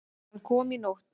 Hann kom í nótt.